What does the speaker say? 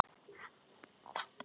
Það er enginn óþarfi.